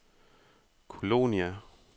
Kolonia